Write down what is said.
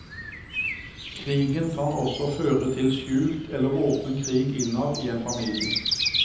Krigen kan også føre til skjult eller åpen krig innad i en familie.